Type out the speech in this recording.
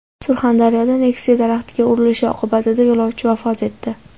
Surxondaryoda Nexia daraxtga urilishi oqibatida yo‘lovchi vafot etdi.